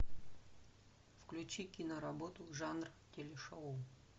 включи киноработу жанр телешоу